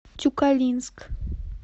тюкалинск